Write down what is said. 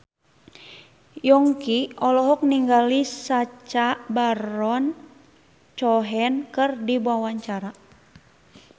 Yongki olohok ningali Sacha Baron Cohen keur diwawancara